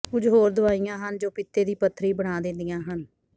ਕੁਝ ਹੋਰ ਦਵਾਈਆਂ ਹਨ ਜੋ ਪਿੱਤੇ ਦੀ ਪੱਥਰੀ ਬਣਾ ਦਿੰਦੀਆਂ ਹਨ